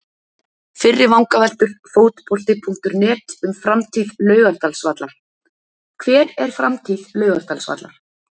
Fyrri vangaveltur Fótbolti.net um framtíð Laugardalsvallar: Hver er framtíð Laugardalsvallar?